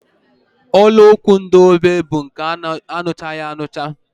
Olu okwu ndị ógbè bụ nke aṅụchaghị aṅụcha